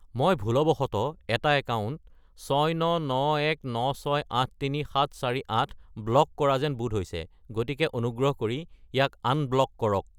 মই ভুলবশতঃ এটা একাউণ্ট 69919683748 ব্লক কৰা যেন বোধ হৈছে, গতিকে অনুগ্ৰহ কৰি ইয়াক আনব্লক কৰক।